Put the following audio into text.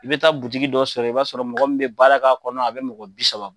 I bɛ taa butiki dɔ sɔrɔ ye, i b'a sɔrɔ mɔgɔ min bɛ baara ka kɔnɔ a bɛ mɔgɔ bi saba